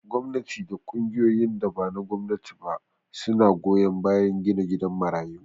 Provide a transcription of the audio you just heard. Gwamnati da ƙungiyoyin da bana gwamnati ba suna goyan bayan gina gidan marayu